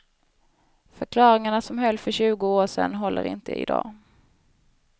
Förklaringarna som höll för tjugo år sedan håller inte i dag.